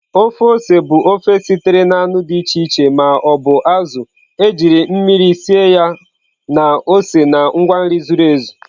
Ofe ose bụ ofe sitere na anụ dị iche iche ma ọ bụ azụ̀ ejiri mmiri sie ya na ose na ngwa nri zuru ezu.